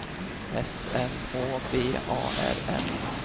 S M Å B A R N